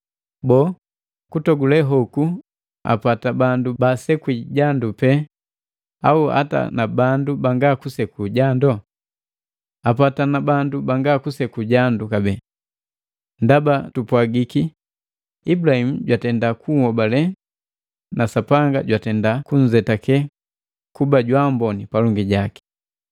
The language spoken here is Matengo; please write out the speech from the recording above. Boo, kutogule hoku apata bandu baasekwi jandu pena au apata na bandu banga kuseku jando? Apata na bandu banga kuseku jandu kabee. Ndaba tupwagiki, “Ibulahimu jwatenda kuhobale na Sapanga jwatenda kunzetake kuba jwaamboni palongi jaki”